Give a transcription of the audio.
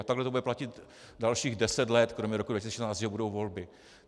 A takhle to bude platit dalších deset let, kromě roku 2016, že budou volby.